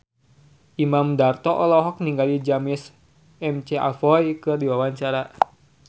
Imam Darto olohok ningali James McAvoy keur diwawancara